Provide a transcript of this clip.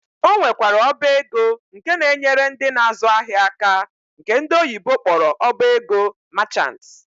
Ọ nwekwara ọba ego nke na-enyere ndị na-azụ ahịa aka nke ndị oyibo kpọrọ ọba ego merchant.